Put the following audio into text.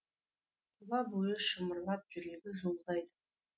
тұла бойы шымырлап жүрегі зуылдайды